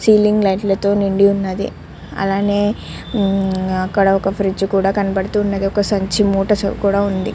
Ceiling light తో నిండి ఉన్నది. అలానే అక్కడ ఒక ఫ్రిడ్జ్ కూడా కనబడుతూ ఉన్నది. ఒక సంచి మూట కూడా ఉంది.